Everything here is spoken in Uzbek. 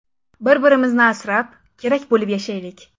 Bir-birimizni asrab, kerakli bo‘lib yashaylik.